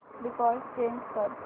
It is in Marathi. डिफॉल्ट चेंज कर